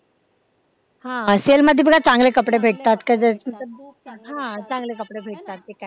हा sale मध्ये बघा चांगले कपडे भेटतात हा चांगले कपडे भेटतात ते काय